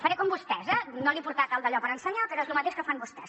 faré com vostès eh no li he portat el dallò per ensenyar però és lo mateix que fan vostès